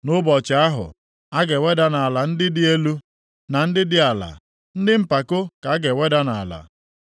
Nʼụbọchị ahụ, a ga-eweda nʼala ndị dị elu, na ndị dị ala, ndị mpako ka a ga-eweda nʼala.